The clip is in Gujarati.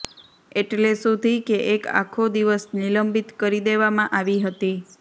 એટલે સુધી કે એક આખો દિવસ નિલંબિત કરી દેવામાં આવી હતી